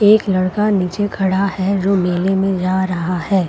एक लड़का निचे खड़ा है जो मेले में जा रहा है।